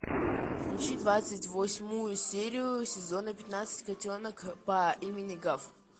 включи двадцать восьмую серию сезона пятнадцать котенок по имени гав